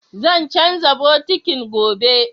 Zan canza bokitin, gobe